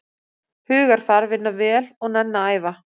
Hugarfar, vinna vel og nenna að æfa.